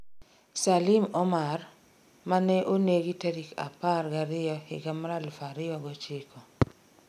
Salim Omar, mane onegi tarik apar ga riyo higa 2009